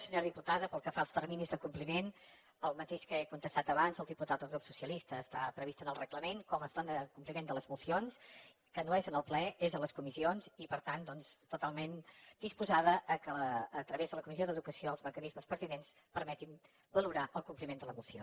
senyora diputada pel que fa als terminis de compliment el mateix que he contestat abans al diputat del grup socialista està previst en el reglament com es dóna compliment de les mocions que no és en el ple és a les comissions i per tant doncs totalment disposada al fet que a través de la comissió d’educació els mecanismes pertinents permetin valorar el compliment de la moció